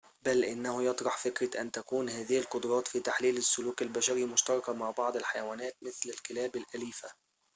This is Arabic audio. بل إنه يطرح فكرة أن تكون هذه القدرات في تحليل السلوك البشري مشتركة مع بعض الحيوانات مثل الكلاب الأليفة